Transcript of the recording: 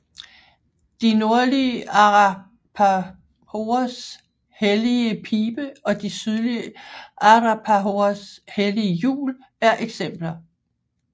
De nordlige arapahoers hellige pibe og de sydlige arapahoers hellige hjul er eksempler